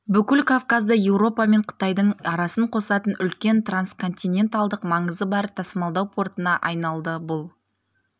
бүкіл кавказды европа мен қытайдың арасын қосатын үлкен трансконтиненталдық маңызы бар тасымалдау портына айналды бұл